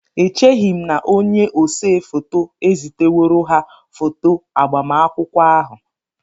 Echeghị m na onye ose foto eziteworo ha foto agbamakwụkwọ ahụ